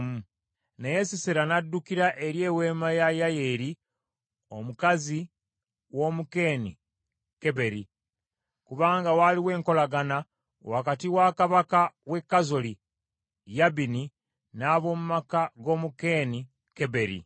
Naye Sisera n’addukira eri eweema ya Yayeeri mukazi w’Omukeeni Keberi: Kubanga waaliwo enkolagana wakati wa kabaka w’e Kazoli, Yabini n’ab’omu maka g’Omukeeni Keberi.